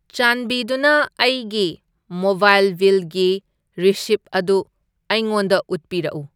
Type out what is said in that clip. ꯆꯥꯟꯕꯤꯗꯨꯅ ꯑꯩꯒꯤ ꯃꯣꯕꯥꯏꯜ ꯕꯤꯜꯒꯤ ꯔꯤꯁꯤꯚ ꯑꯗꯨ ꯑꯩꯉꯣꯟꯗ ꯎꯠꯄꯤꯔꯛꯎ꯫